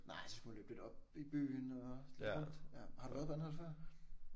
Nej så skal man løbe lidt op i byen og lidt rundt. Har du været på Anholt før?